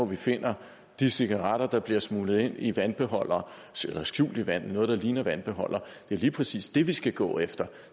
vi finder de cigaretter der bliver smuglet ind i vandbeholdere eller i noget der ligner vandbeholdere det er lige præcis det vi skal gå efter